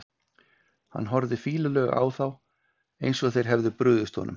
Hann horfði fýlulega á þá, eins og þeir hefðu brugðist honum.